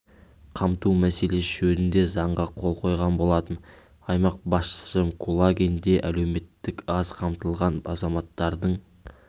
қамту мәселесі жөнінде заңға қол қойған болатын аймақ басшысы кулагин де әлеуметтік аз қамтылған азаматтардың